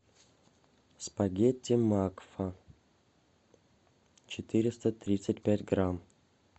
спагетти макфа четыреста тридцать пять грамм